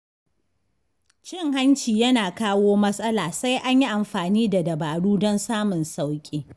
Cin hanci yana kawo matsala sai an yi amfani da dabaru don samun sauƙi.